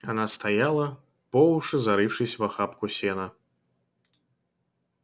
она стояла по уши зарывшись в охапку сена